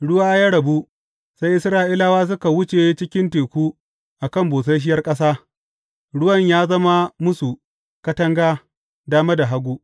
Ruwa ya rabu, sai Isra’ilawa suka wuce cikin teku a kan busasshiyar ƙasa, ruwan ya zama musu katanga dama da hagu.